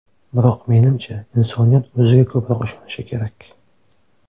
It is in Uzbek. Biroq menimcha, insoniyat o‘ziga ko‘proq ishonishi kerak.